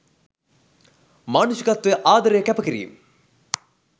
මානුෂිකත්වය ආදරය කැප කිරීම්